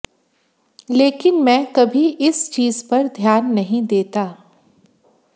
लेकिन मैं कभी इस चीज पर ध्यान नहीं देता